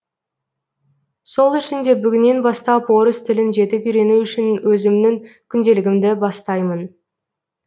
сол үшін де бүгіннен бастап орыс тілін жетік үйрену үшін өзімнің күнделігімді бастаймын